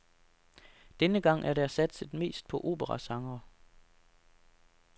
Denne gang er der satset mest på operasangere.